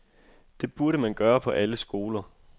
Det burde man gøre på alle skoler.